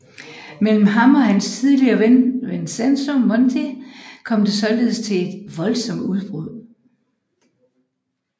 Mellem ham og hans tidligere ven Vincenzo Monti kom det således til et voldsomt brud